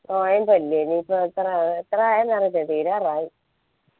നൊയമ്പല്ലേ ഇനി ഇപ്പൊ ഇന്ന് എത്രായെ എത്രയെ അറിയത്തില്ല തീരാറായി